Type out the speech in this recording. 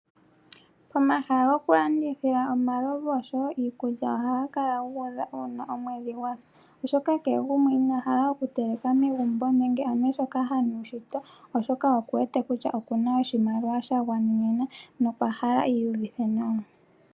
Omahala gokulandithila omalovu oshowo iikulya ohaga kala guudha uuna omwedhi gwasa oshoka kehe inahala oku teleka megumbo nenge anye shoka hanu shito oshoka okuwete kutya okuna oshimaliwa shagwanenena nokwa hala iiyuvithe nawa.